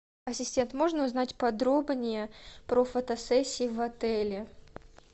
ассистент можно узнать подробнее про фотосессии в отеле